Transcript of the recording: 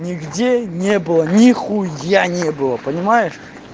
нигде не было ни хуя не было понимаешь